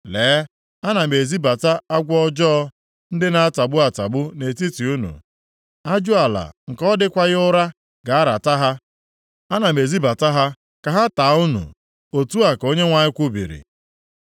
“Lee, ana m ezibata agwọ ọjọọ, ndị na-atagbu atagbu, nʼetiti unu. Ajụala nke ọ dịkwaghị ụra ga-arata ha. + 8:17 Ihe pụrụ ime na ha agaghị ata unu Ana m ezibata ha ka ha taa unu.” Otu a ka Onyenwe anyị kwubiri.